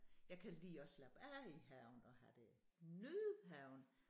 Jeg kan lide at slappe af i haven og have det nyde haven